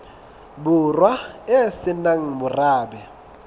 borwa e se nang morabe